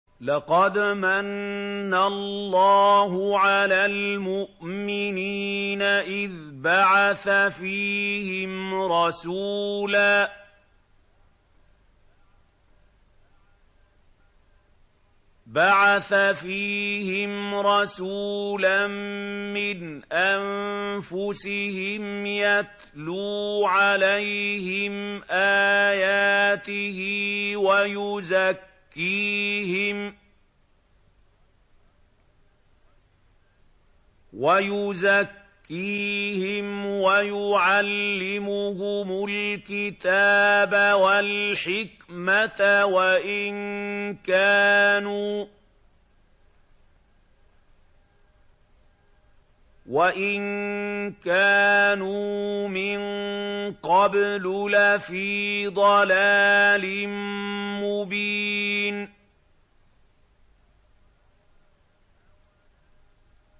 لَقَدْ مَنَّ اللَّهُ عَلَى الْمُؤْمِنِينَ إِذْ بَعَثَ فِيهِمْ رَسُولًا مِّنْ أَنفُسِهِمْ يَتْلُو عَلَيْهِمْ آيَاتِهِ وَيُزَكِّيهِمْ وَيُعَلِّمُهُمُ الْكِتَابَ وَالْحِكْمَةَ وَإِن كَانُوا مِن قَبْلُ لَفِي ضَلَالٍ مُّبِينٍ